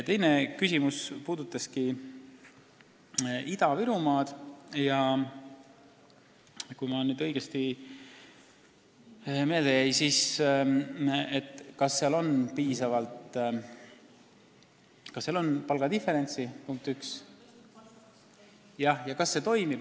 Teine küsimus puudutaski Ida-Virumaad – kui mul õigesti meelde jäi, siis seda, kas seal on piisavalt palgad diferentseeritud ja kui on, siis kas see toimib.